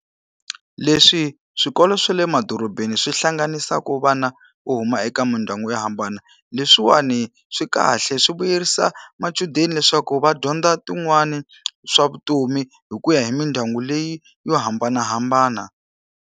Leswi swikolo swa le madorobeni swi hlanganisaka vana u huma eka mindyangu yo hambana, leswiwani swi kahle. Swi vuyerisa machudeni leswaku va dyondza tin'wani swa vutomi hi ku ya hi mindyangu leyi yo hambanahambana.